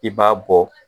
I b'a bɔ